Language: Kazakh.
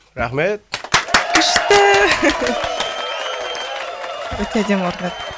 рахмет күшті өте әдемі орындады